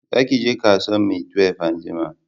Za ki je kasuwan maitwef anjima